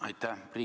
Aitäh!